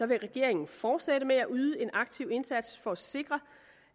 vil regeringen fortsætte med at yde en aktiv indsats for at sikre